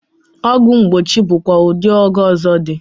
Ogwu mgbochi bụkwa ụdị ọgwụ ọzọ dị.